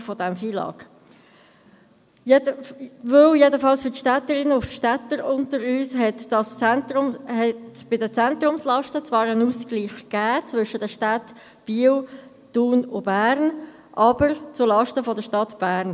Bei den Zentrumslasten hat zwar ein Ausgleich stattgefunden – jedenfalls für die Städterinnen und Städter unter uns – zwischen den Städten Biel, Thun und Bern, aber notabene zulasten der Stadt Bern.